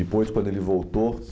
Depois, quando ele voltou